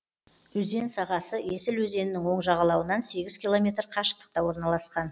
өзен сағасы есіл өзенінің оң жағалауынан сегіз километр қашықтықта орналасқан